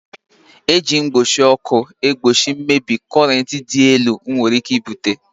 E ji igwe mgbochi ọkụ egbochi mmebi korent dị elu nwere ike ibute